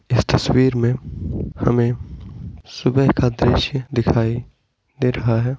इस तस्वीर मे हमे सुबह का दृश्य दिखाई दे रहा है।